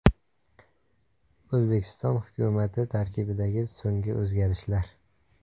O‘zbekiston hukumati tarkibidagi so‘nggi o‘zgarishlar.